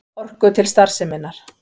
Orku til starfseminnar.